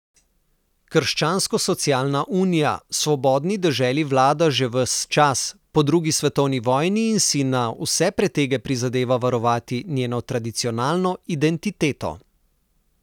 Krščanskosocialna unija svobodni deželi vlada že ves čas po drugi svetovni vojni in si na vse pretege prizadeva varovati njeno tradicionalno identiteto.